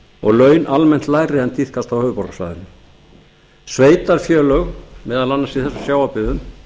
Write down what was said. og laun almennt lægri en tíðkast á höfuðborgarsvæðinu sveitarfélög meðal annars í þessum sjávarbyggðum